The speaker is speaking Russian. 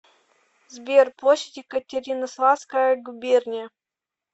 сбер площадь екатеринославская губерния